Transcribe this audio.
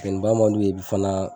Funtɛni ba man d'u ye fana.